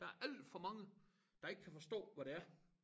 Der alt for mange der ikke kan forstå hvad det er